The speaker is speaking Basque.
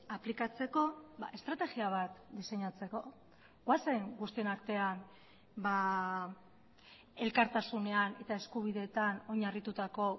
aplikatzeko estrategia bat diseinatzeko goazen guztion artean elkartasunean eta eskubideetan oinarritutako